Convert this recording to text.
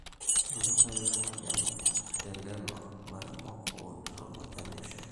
illdukai le majani telelo laremok oounito majani eshaai